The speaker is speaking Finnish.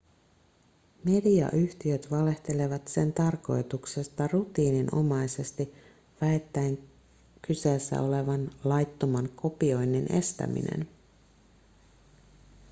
mediayhtiöt valehtelevat sen tarkoituksesta rutiininomaisesti väittäen kyseessä olevan laittoman kopioinnin estäminen